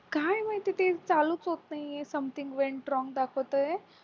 काय माहिती ते चालू होत नाहीये something went wrong दाखवतोय